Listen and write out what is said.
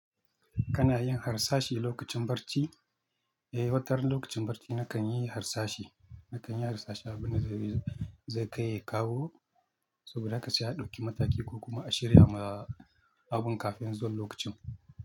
Kana yin harsashi lokacin barci? Eh, watar lokacin barci nakan yi harsashi. Nakan yi harsashi abin da zai kai kawo, saboda haka sai a ɗauki mataki ko kuma a shirya ma abun kafin zuwan lokacin.